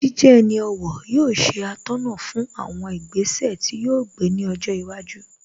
Jíjẹ ẹni ọ̀wọ̀ yóò ṣe atọ́nà fún àwọn ìgbésẹ̀ tí yóò gbé ní ọjọ́ iwájú